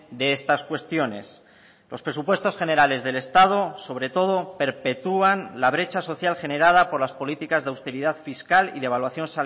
de estas cuestiones los presupuestos generales del estado sobre todo perpetuán la brecha social generada por las políticas de austeridad fiscal y devaluación